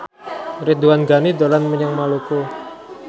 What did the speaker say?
Ridwan Ghani dolan menyang Maluku